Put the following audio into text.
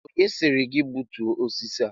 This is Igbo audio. Onye sịrị gị gbutuo osisi a?